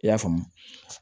I y'a faamu